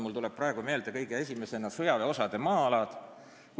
Mulle tulevad praegu kõige esimesena meelde sõjaväeosade maa-alad.